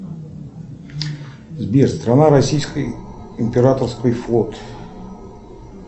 сбер страна российской императорский флот